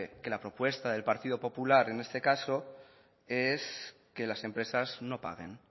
que la propuesta del partido popular en este caso es que las empresas no paguen